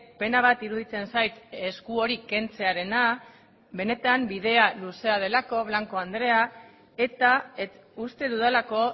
pena bat iruditzen zait esku hori kentzearena benetan bidea luzea delako blanco andrea eta uste dudalako